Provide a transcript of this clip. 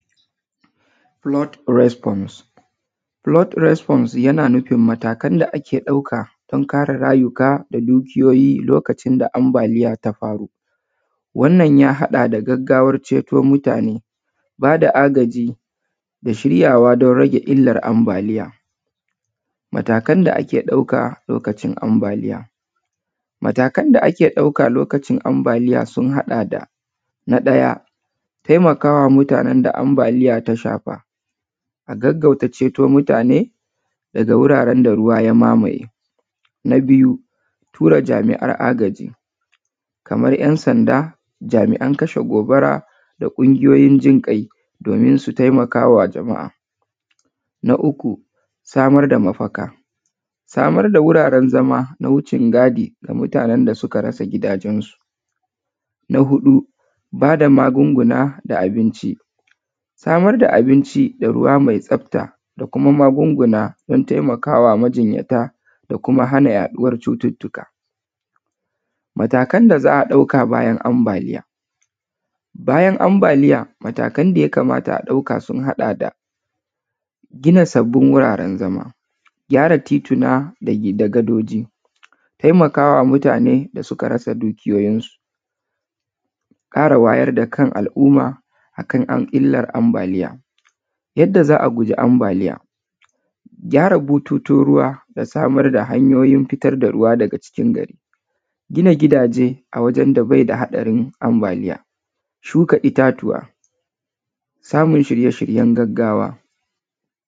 Flood response. Flood response yana nufin matakan da ake ɗauka don kare rayuka da dukiyoyi lokacin da ambaliya ta faru. Wannan ya haɗa da gaggawar ceto mutane, ba da agaji da shiryawa don rage illar ambaliya. Matakan da ake ɗauka lokacin ambaliya: Matakan da ake ɗauka lokacin ambaliya su haɗa da: na ɗaya, taimaka wa mutanen da ambaliya ta shafa, a gaggauta ceto mutane daga wuraren da ruwa ya mamaye. Na biyu, tura jami’an agaji kamar ‘yan sanda, jami’an kashe gobara da ƙungiyoyin jin ƙai domin su taimaka wa jama’a. na uku, samar da mafaka, samar da wuraren zama na wucin gadi ga mutanen da suka rasa gidajensu. Na huɗu, ba da magunguna da abinci, samar da abinci da ruwa mai tsafta da kuma magunguna don taimaka wa majinyata da kuma hana yaɗuwar cututtuka. Matakan da za a ɗauka bayan ambaliya: bayan ambaliya, matakan da za a ɗauka sun haɗa da: gina sabbin wuraren zama, gyara tituna da gadoji, taimaka wa mutane da suka rasa dukiyoyinsu, ƙara wayar da kan al’umma a kan illar ambaliya. Yadda za a guji ambaliya: gyara butun ruwa da samar da hanyoyin fitar da ruwa daga cikin gari, gina gidaje a wajen da bai da haɗarin ambaliya, shuka itatuwa, samun shirye-shiryen gaggawa.